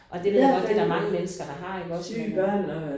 Og det ved jeg godt det der mange mennesker der har iggås men